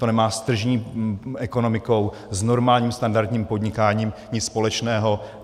To nemá s tržní ekonomikou, s normálním standardním podnikáním nic společného.